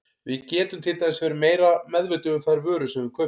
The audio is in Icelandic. Við getum til dæmis verið meira meðvituð um þær vörur sem við kaupum.